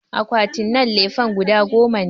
Akwatinan lefen guda goma ne